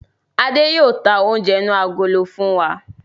Adé yìí ó tà oúnjẹ inú agolo fún wa